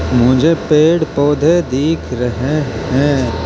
मुझे पेड़ पौधे दिख रहे है।